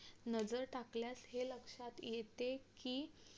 नजर टाकल्यास हे लक्षात येते कि